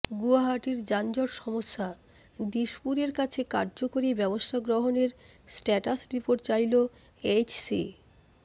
গুয়াহাটির যানজট সমস্যাঃ দিশপুরের কাছে কার্যকরী ব্যবস্থা গ্ৰহণের স্ট্যাটাস রিপোর্ট চাইলো এইচসি